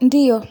Ndiyo,